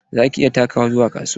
Za ka iya takawa zuwa kasuwa?